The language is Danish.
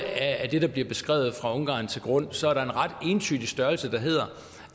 det der bliver beskrevet fra ungarn til grund så er der en ret entydig størrelse der hedder